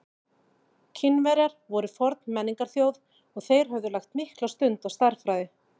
Kínverjar voru forn menningarþjóð og þeir höfðu lagt mikla stund á stærðfræði.